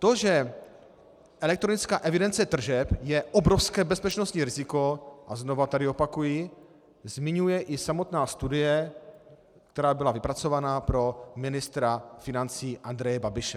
To, že elektronická evidence tržeb je obrovské bezpečnostní riziko, a znovu tady opakuji, zmiňuje i samotná studie, která byla vypracována pro ministra financí Andreje Babiše.